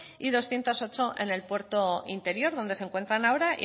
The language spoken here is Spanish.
y doscientos ocho en el puerto interior donde se encuentran ahora